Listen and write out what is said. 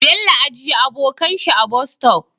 Bello ajiya abokan shi a Bus stop